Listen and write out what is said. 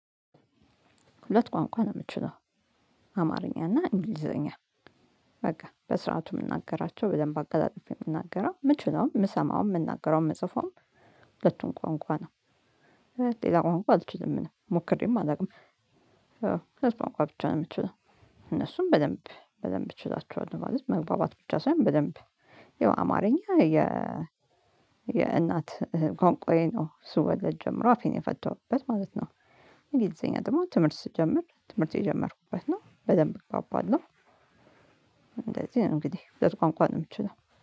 ሁለት ቋንቋ ነው የምችለው አማርኛ እና እንግሊዘኛ በቃ በስርዓቱ የምናገራቸው በደንብ አቀለጥፌ የምናገረው የምችለውም የምሰማውም የምናገረውም የምጽፈውም ሁለቱን ቋንቋ ነው። ሌላ ቋንቋ አልችልም ሞክሬም አላውቅም። እነዚህን ቋንቋ ብቻ ነው የምትችለው። እነሱን በደንብ በደንብ እችላቸዋል ማለት መግባባት ብቻ ሳይሆን በደንብ የው አማርኛ የ። የእናት ቋንቋዬ ነው ስወለድ ጀምሮ አፌን የፈተውበት ማለት ነው። እንግሊዘኛ ደግሞ ትምህርት ስትጀምር ትምህርት የጀመርኩበት ነው በደንብ እግባበለሁ። እንደዚህ እንግዲህ ሁለት ቋንቋ ነው የምችለው